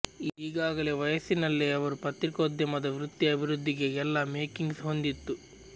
ಈಗಾಗಲೇ ವಯಸ್ಸಿನಲ್ಲೇ ಅವರು ಪತ್ರಿಕೋದ್ಯಮದ ವೃತ್ತಿ ಅಭಿವೃದ್ಧಿಗೆ ಎಲ್ಲಾ ಮೇಕಿಂಗ್ಸ್ ಹೊಂದಿತ್ತು